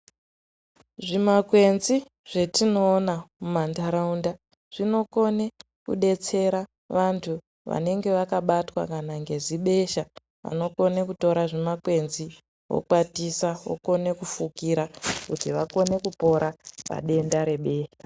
Zvimakwenzi zvetinoona mumantaraunda zvinokone kudetsera vanthu vanenge vakabatwa kana ngezibesha, vanokone kutora zvimakwenzi vokwatisa vokone kufukira kuti vakone kupora padenda rebesha.